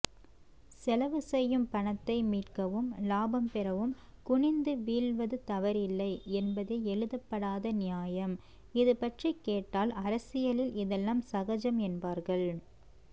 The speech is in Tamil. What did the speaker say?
செலவுசெய்யும் பணத்தை மீட்கவும் லாபம்பெறவும் குனிந்து வீழ்வதுதவறில்லை என்பதே எழுதப்படாத நியாயம் இதுபற்றிக்கேட்டால் அரசியலில் இதெல்லாம்சகஜம் என் பார்கள்